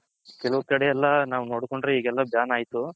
ಕೆಲವ್ ಕಡೆ ಎಲ್ಲಾ ನಾವ್ ನೋಡ್ಕೊಂಡ್ರೆ ಈಗೆಲ್ಲಾ ban ಆಯ್ತು.